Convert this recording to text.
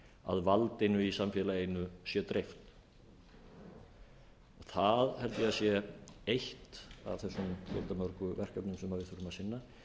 að valdinu í samfélaginu sé dreift það held ég að sé eitt af erum fjöldamörgu verkefnum sem við þurfum að sinna